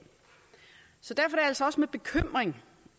altså også med bekymring